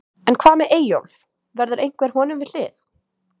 En hvað með Eyjólf, verður einhver honum við hlið?